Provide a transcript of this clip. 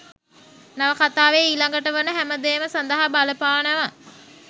නවකතාවෙ ඊලඟට වන හැමදේම සදහා බලපානව.